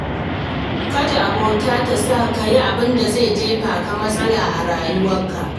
Kada abota ta sa ka yin abin da zai jefa ka cikin matsala a rayuwarka.